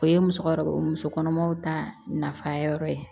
O ye musokɔrɔbaw musokɔnɔmaw ta nafa yɔrɔ ye